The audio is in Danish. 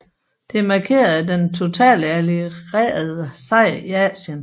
Det markerede den totale allierede sejr i Asien